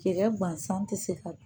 Cɛkɛ gansan ti se ka dun